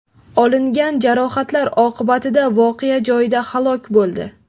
olingan jarohatlar oqibatida voqea joyida halok bo‘ldi.